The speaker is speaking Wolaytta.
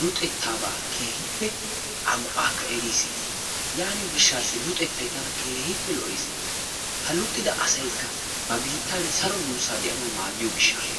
luxettaabaa keehippe a go"aakka eris yaaniyo gishshaassi luxettayi tana keehippe lo"es. Ha luxida asaykka ba biittan saro duussaa de"anawu maaddiyo gishshaassa.